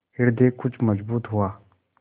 हृदय कुछ मजबूत हुआ